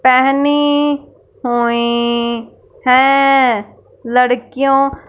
पहनी हुई है। लड़कियों--